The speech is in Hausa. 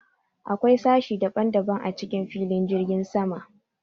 Akwai sashi ɗaban-ɗaban a cikin filin jirgin sama.